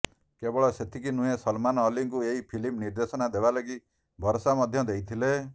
କେବଳ ସେତିକି ନୁହେଁ ସଲମାନ ଅଲ୍ଲୀଙ୍କୁ ଏହି ଫିଲ୍ମ ନିର୍ଦ୍ଦେଶନା ଦେବା ଲାଗି ଭରସା ମଧ୍ୟ ଦେଇଥିଲେ